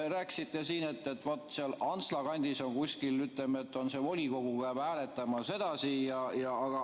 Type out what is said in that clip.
Rääkisite siin, et vaat seal Antsla kandis on kuskil nii, ütleme, et see volikogu peab hääletama sedasi.